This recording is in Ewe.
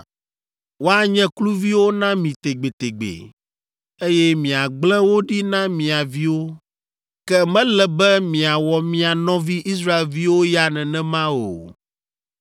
Woanye kluviwo na mi tegbetegbe, eye miagblẽ wo ɖi na mia viwo. Ke mele be miawɔ mia nɔvi, Israelviwo ya nenema o.